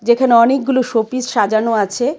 যেখানে অনেকগুলো শোপিস সাজানো আছে.